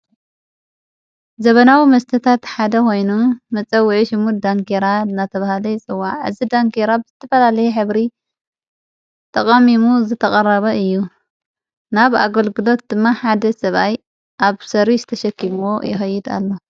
ዘበናዊ መስተታ ተሓደ ኾይኑ መጸዊዒ ሽሙድ ዳንጌራ እናተብሃለይ ይፅዋዕ። ዕዝ ዳንጌይራ ብ ዝተፈላልየ ኅብሪ ጠቐሚሙ ዘተቐረበ እዩ ።ናብ ኣገልግሎት ድማ ሓደ ሰብኣይ ኣብ ሠር ዝተሸኪምዎ ይኸይድ ኣሎ።